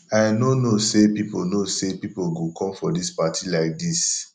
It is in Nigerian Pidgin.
i no know say people know say people go come for dis party like dis